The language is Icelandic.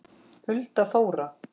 Hulda Þóra.